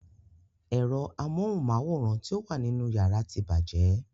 Ero amóhunmáwòrán ti o wà nínú yàrá tí bàjẹ́.